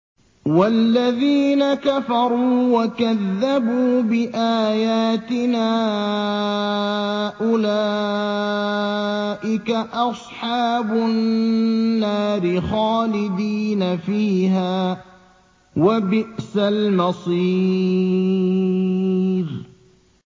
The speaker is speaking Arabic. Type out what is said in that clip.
وَالَّذِينَ كَفَرُوا وَكَذَّبُوا بِآيَاتِنَا أُولَٰئِكَ أَصْحَابُ النَّارِ خَالِدِينَ فِيهَا ۖ وَبِئْسَ الْمَصِيرُ